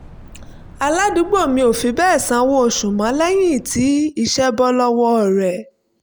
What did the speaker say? aládùúgbò mi ò fi bẹ́ẹ̀ sanwó oṣù mọ́ lẹ́yìn tí iṣẹ́ bọ́ lọ́wọ́ rẹ̀